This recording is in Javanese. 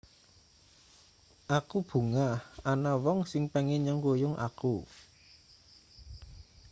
aku bungah ana wong sing pengin nyengkuyung aku